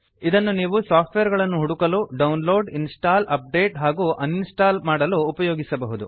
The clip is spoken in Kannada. ಇದನ್ನು ನೀವು ಸಾಫ್ಟ್ವೇರ್ ಗಳನ್ನು ಹುಡುಕಲು ಡೌನ್ಲೋಡ್ ಇನ್ಸ್ಟಾಲ್ ಅಪ್ಡೇಟ್ ಹಾಗೂ ಅನ್ಇನ್ಸ್ಟಾಲ್ ಮಾಡಲು ಉಪಯೋಗಿಸಬಹುದು